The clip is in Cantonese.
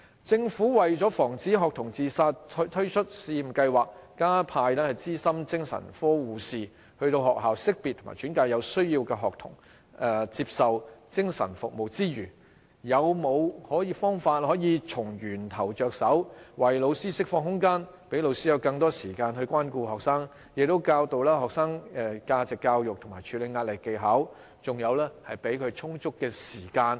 政府為了防止學童自殺推出試驗計劃，加派資深精神科護士到學校識別及轉介有需要的學童接受精神服務之餘，是否有方法可以從源頭着手，為老師釋放空間，讓老師有更多時間關顧學生，教導學生價值教育及處理壓力的技巧，給他們充足的空餘時間？